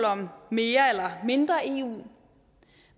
om mere eller mindre eu